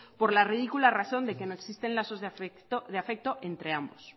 por la ridícula razón de que no existen lazos de afecto entre ambos